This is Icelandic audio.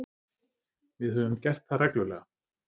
Við höfum gert það reglulega